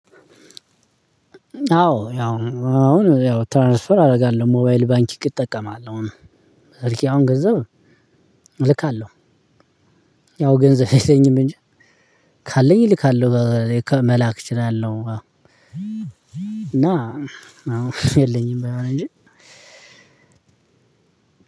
አዎ ያው አሁን ያው ትራንስፈር አደርጋለሁ ሞባይል ባንኪንግ እጠቀማለሁ። ስልኬ አሁን ገንዘብ እልካለሁ። ያው ገንዘብ የለኝም እንጂ ካለኝ እልካለሁ። መላክ እችላለሁ። እና አሁን የለኝም ባይሆን እንጂ